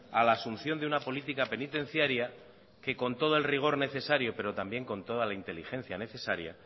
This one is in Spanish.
a la asunción de una política penitenciaria que con todo el rigor necesario pero también con toda la inteligencia necesaria